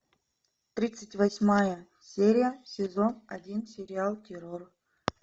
тридцать восьмая серия сезон один сериал террор